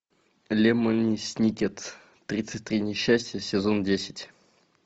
лемони сникет тридцать три несчастья сезон десять